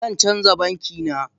Zan canza banki na